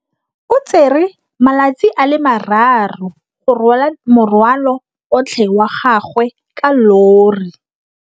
O tsere malatsi a le marraro go rwala morwalo otlhe wa gagwe ka llori.